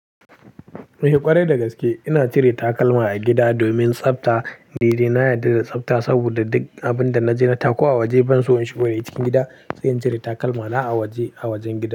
Ni ƙwarai da gaske ina cire takalma a gida domin tsafta. Nide na yarda da tsafta saboda duk abin da naje na taku a waje ban so in shigo dashi cikin gida sai in cire takalmana a waje, a wajen gida.